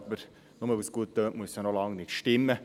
Nur weil es gut tönt, muss es aber noch lange nicht stimmen.